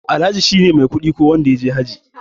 Alhaji shine mai kuɗi ko wanda yaje hajji.